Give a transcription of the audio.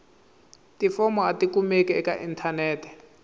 tifomo a tikumeki eka inthanete